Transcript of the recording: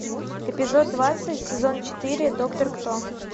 эпизод двадцать сезон четыре доктор кто